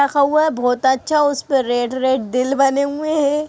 रखा हुआ बहुत अच्छा उसपे रेड रेड दिल बने हुए हैं।